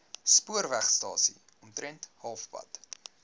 spoorwegstasie omtrent halfpad